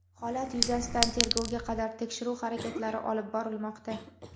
Holat yuzasidan tergovga qadar tekshiruv harakatlari olib borilmoqda.